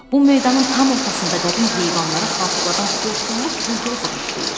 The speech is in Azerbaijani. Bu meydanın tam ortasında qədim heyvanları xatırladan xortumlu buldozer işləyir.